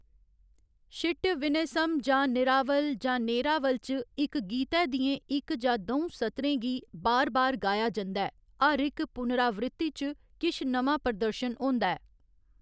शिट्य विनयसम जां निरावल जां नेरावल च इक गीतै दियें इक जां द'ऊं सतरें गी बार बार गाया जंदा ऐ, हर इक पुनरावृत्ति च किश नमां प्रदर्शन होंदा ऐ।